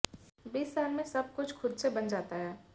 बीस साल में सब कुछ खुद से बन जाता है